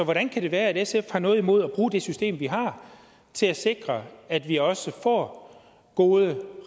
hvordan kan det være at sf har noget imod at bruge det system vi har til at sikre at vi også får gode